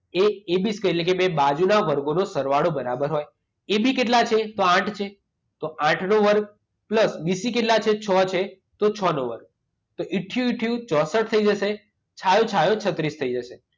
એ AB square એટલે કે બે બાજુના વર્ગોનો સરવાળો બરાબર હોય. એબી કેટલા છે? તો આઠ છે, તો આઠનો વર્ગ. પ્લસ બીસી કેટલા છે? છ છે, તો છનો વર્ગ. તો ઈથયું ઈથયું ચોંસઠ થઈ જશે. છાયું છાયું છત્રીસ થઈ જશે.